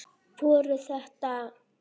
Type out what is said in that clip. Voru þetta.